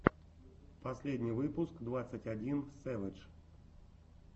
последний выпуск двадцать один сэвэдж